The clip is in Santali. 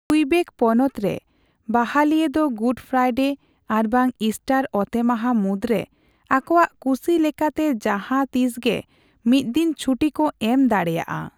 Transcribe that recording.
ᱠᱩᱭᱵᱮᱠ ᱯᱚᱱᱚᱛᱨᱮ ᱵᱟᱦᱟᱞᱤᱭᱟᱹ ᱫᱚ ᱜᱩᱰ ᱯᱷᱨᱟᱭᱰᱮ ᱟᱨᱵᱟᱝ ᱤᱥᱴᱟᱨ ᱚᱛᱮᱢᱟᱦᱟ ᱢᱩᱫᱨᱮ ᱟᱠᱚᱣᱟᱜ ᱠᱩᱥᱤ ᱞᱮᱠᱟᱛᱮ ᱡᱟᱦᱟᱸ ᱛᱤᱥᱜᱮ ᱢᱤᱛᱫᱤᱱ ᱪᱷᱩᱴᱤᱠᱚ ᱮᱢ ᱫᱟᱲᱮᱭᱟᱼᱟ ᱾